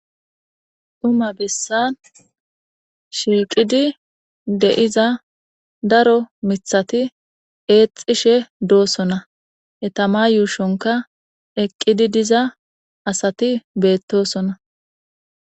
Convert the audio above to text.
Duma bessan shiiqidi de7iza daro mithati eexishe doosona etama yuushonka eqqidi diza asati beettosona